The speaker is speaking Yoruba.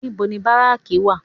Níbo ni báráàkì wà?